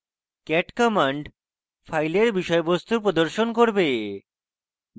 cat command file বিষয়বস্তু প্রদর্শন করবে